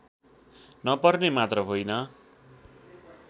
नपर्ने मात्र होइन